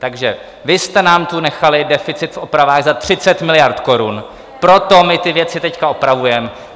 Takže vy jste nám tu nechali deficit v opravách za 30 miliard korun, proto my ty věci teď opravujeme.